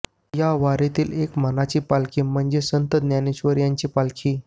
या वारीतील एक मानाची पालखी म्हणजे संत ज्ञानेश्वर यांची पालखी